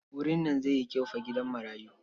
Wurin nan zai yi kyau fa gidan marayu.